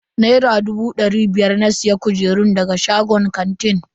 Naira dubu dari biyar na siya kujerun daga shagon kantin.